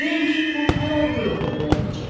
Deyin ki, pul hər ay bu yolla ödəniləcək.